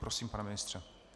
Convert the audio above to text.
Prosím, pane ministře.